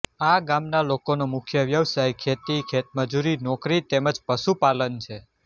આ ગામના લોકોનો મુખ્ય વ્યવસાય ખેતી ખેતમજૂરી નોકરી તેમ જ પશુપાલન છે